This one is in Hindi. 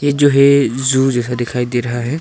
ये जो है जू जैसा दिखाई दे रहा है।